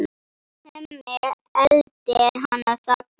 Hemmi eltir hana þangað.